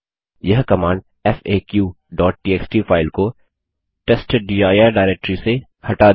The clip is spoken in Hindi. यह कमांड faqटीएक्सटी फाइल को testdir डाइरेक्टरी से हटा देगी